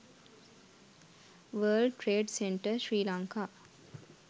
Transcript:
world trade center sri lanka